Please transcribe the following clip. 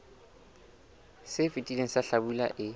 se fetileng sa hlabula e